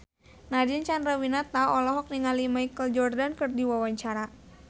Nadine Chandrawinata olohok ningali Michael Jordan keur diwawancara